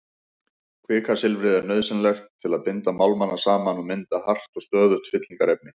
Kvikasilfrið er nauðsynlegt til að binda málmana saman og mynda hart og stöðugt fyllingarefni.